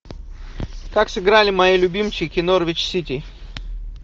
как сыграли мои любимчики норвич сити